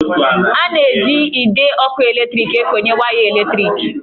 A na-eji ide ọkụ eletriki ekonye waya eletriki